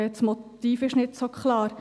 Das Motiv sei nicht so klar.